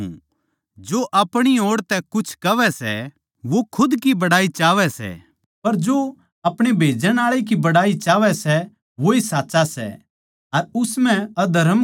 जो अपणी ओड़ तै कुछ कहवै सै वो खुद की बड़ाई चाहवै सै पर जो अपणे भेजण आळै की बड़ाई चाहवै सै वोए साच्चा सै अर उस म्ह अधर्म कोनी